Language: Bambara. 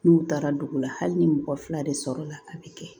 N'u taara dugu la hali ni mɔgɔ fila de sɔrɔla a bɛ kɛ